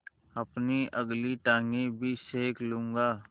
अपनी अगली टाँगें भी सेक लूँगा